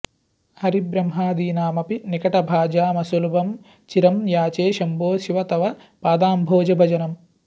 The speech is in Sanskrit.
हरिब्रह्मादीनामपि निकटभाजामसुलभं चिरं याचे शम्भो शिव तव पदाम्भोजभजनम्